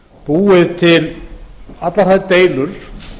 búið til allar þær deilur